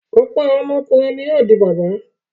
Ọ̀pọ̀ àwọn ọkùnrin ni yóò di bàbá.